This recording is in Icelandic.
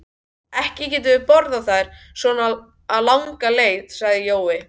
Ekki getum við borið þær svona langa leið, sagði Jói.